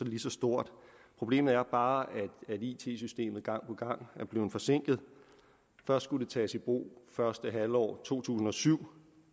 lige så stort problemet er bare at it systemet gang på gang er blevet forsinket først skulle det tages i brug første halvår to tusind og syv